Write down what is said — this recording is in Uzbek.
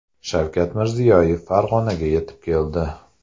Shavkat Mirziyoyev Farg‘onaga yetib keldi.